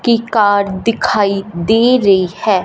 की कार्ड दिखाई दे रही है।